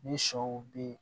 Ni sɔw be yen